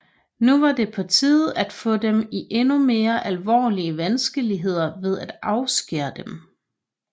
Nu var det på tide at få dem i endnu mere alvorlige vanskeligheder ved at afskære dem